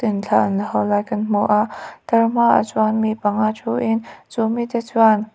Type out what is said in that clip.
thla an lak ho lai kan hmu a tlarhmaah chuan mi pangngai thu in chu mi te chuan--